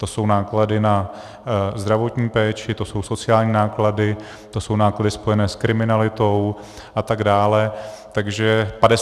To jsou náklady na zdravotní péči, to jsou sociální náklady, to jsou náklady spojené s kriminalitou a tak dále.